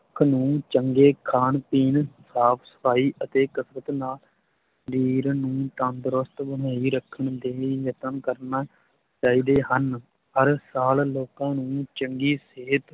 ਚੰਗੇ ਖਾਣ ਪੀਣ, ਸਾਫ਼ ਸਫ਼ਾਈ ਅਤੇ ਕਸਰਤ ਨਾਲ ਸਰੀਰ ਨੂੰ ਤੰਦਰੁਸਤ ਬਣਾਈ ਰੱਖਣ ਦੇ ਲਈ ਯਤਨ ਕਰਨਾ ਚਾਹੀਦੇ ਹਨ, ਹਰ ਸਾਲ ਲੋਕਾਂ ਨੂੰ ਚੰਗੀ ਸਿਹਤ